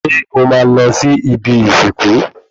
Ṣé o máa lọ sí ibi ìsìnkú